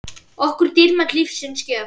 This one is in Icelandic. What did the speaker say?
okkur dýrmæt lífsins gjöf.